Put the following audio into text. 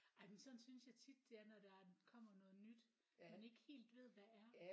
Ej men sådan synes jeg tit det er når der kommer noget nyt man ikke helt ved hvad er